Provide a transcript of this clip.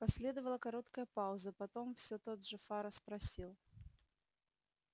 последовала короткая пауза потом все тот же фара спросил